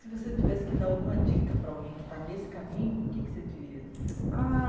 Se você tivesse que dar alguma dica para alguém que está nesse caminho, o que você diria? Ah